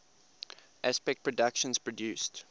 aspect productions produced